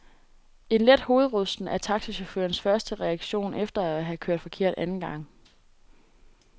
En let hovedrysten er taxachaufførens første reaktion efter at have kørt forkert anden gang.